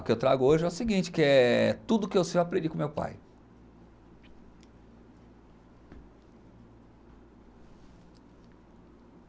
O que eu trago hoje é o seguinte, que é tudo o que eu sei eu aprendi com meu pai.